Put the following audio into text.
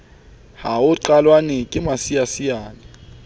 ha ho qellwane ke masiasiane